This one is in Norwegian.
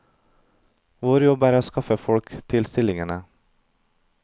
Vår jobb er å skaffe folk til stillingene.